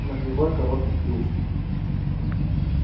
на кривой короткий клюв